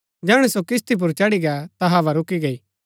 जैहणै सो किस्ती पुर चढ़ी गै ता हवा रूकी गई